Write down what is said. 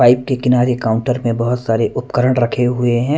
Pipe के किनारे counter में बहुत सारे उपकरण रखे हुए हैं।